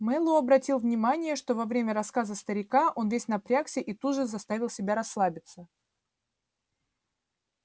мэллоу обратил внимание что во время рассказа старика он весь напрягся и тут же заставил себя расслабиться